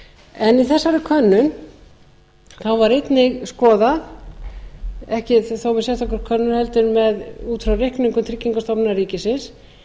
í þessari könnun var einnig skoðað ekki þó með sérstakri könnun heldur út frá reikningum tryggingastofnun ríkisins